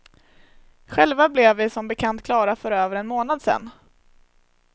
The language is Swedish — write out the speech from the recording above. Själva blev vi som bekant klara för över en månad sen.